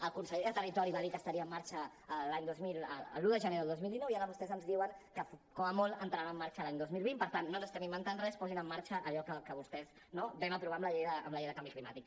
el conseller de territori va dir que estaria en marxa l’un de gener del dos mil dinou i ara vostès ens diuen que com a molt entrarà en marxa l’any dos mil vint per tant no ens estem inventant res posin en marxa allò que vostès no vam aprovar amb la llei de canvi climàtic